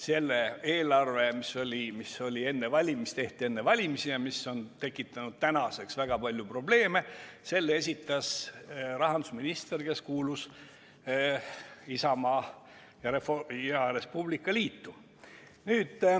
Selle eelarve, mis tehti enne valimisi ja mis on tekitanud tänaseks väga palju probleeme, esitas rahandusminister, kes kuulus Isamaa ja Res Publica Liitu.